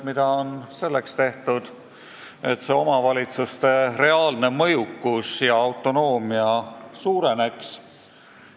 Mida on tehtud selleks, et omavalitsuste reaalne mõjukus ja autonoomia suureneks?